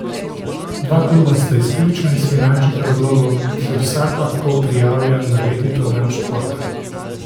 Dva kluba sta izključno iz finančnih razlogov, da se vsak lahko prijavlja na letni program športa.